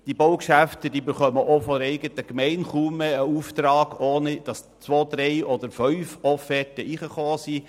Solche Baugeschäfte erhalten heute auch von der Gemeinde kaum mehr einen Auftrag, ohne dass zwei bis fünf Offerten bei dieser eingetroffen sind.